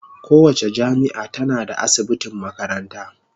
Kowace jami'a tana da asibitin makaranta.